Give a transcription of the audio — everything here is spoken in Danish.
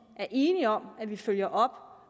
er enige om at vi følger op